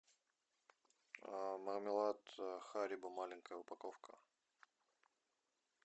мармелад харибо маленькая упаковка